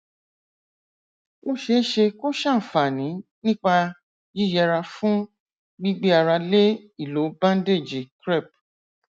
ó ṣeé ṣe kó ṣàǹfààní nípa yíyẹra fún gbígbé ara lé ìlò bándéèjì crepe